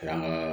Karamɔgɔ